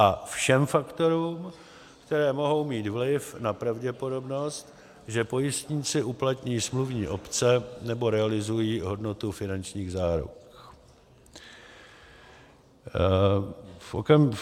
b) všem faktorům, které mohou mít vliv na pravděpodobnost, že pojistníci uplatní smluvní opce nebo realizují hodnotu finančních záruk.